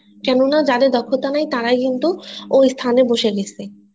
কেননা যাদের দক্ষতা নেই তারাই কিন্তু ওই স্থানের বসে গেছে